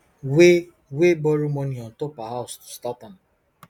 wey wey borrow money on top her house to start am